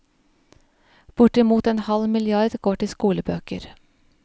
Bortimot en halv milliard går til skolebøker.